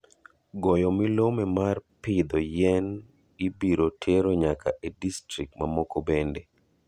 Goyo milome mar piidho yien ibiro tero nyaka e distrikt ma moko bende.